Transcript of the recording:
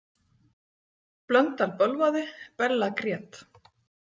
Blöndal bölvaði, Bella grét.